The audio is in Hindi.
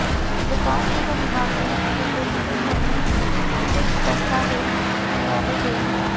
विकासनगर निवासी द्विवेदी के घर में भी कुछ दस्तावेज खंगाले गए